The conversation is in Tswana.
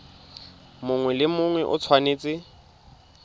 mongwe le mongwe o tshwanetse